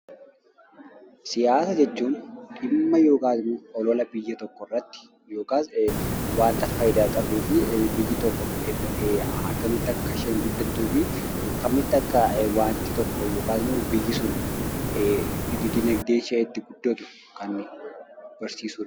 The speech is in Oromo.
Siyaasa jechuun dhimma yookiin olola biyya tokko irratti yookiin immoo waan biyya tokkoof faayidaa qabu; biyyi tokko akkamitti akka guddattuuf yookin immoo biyyi tokko akkamitti diinagdeen ishee guddachuu akka qabu kan barsiisuu dha.